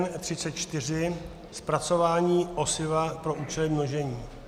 N34 - zpracování osiva pro účely množení.